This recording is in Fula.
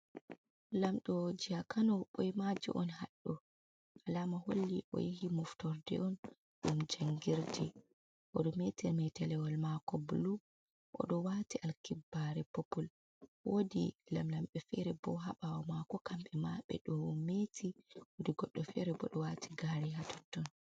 Lamɗo jiha Kano ɓoimajo on haɗɗo. Alama holli o yahi moftorde on ɗum jangirde. Oɗo meeti meetelewol mako bulu, oɗo waati alkibbare popul, woodi lamlamɓe feere bo ha ɓawo maako. Kamɓe ma ɓe ɗo meeti wodi goɗɗo feere bo ɗo waati gaare ha totton.